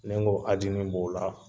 Ni n ko ajini b'o la.